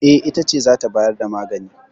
E, ita ce za ta bayar da magani.